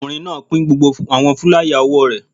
Ọkùnrin náà pín gbogbo àwọn fúláyà òwò rẹ̀